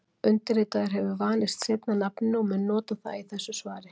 Undirritaður hefur vanist seinna nafninu og mun nota það í þessu svari.